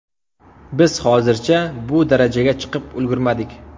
Biz hozircha bu darajaga chiqib ulgurmadik.